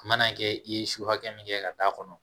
A mana kɛ i ye su hakɛ min kɛ ka d'a kɔnɔ